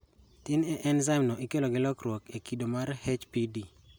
Tin e enzaim no ikelo gi lokruok e kido mar HPD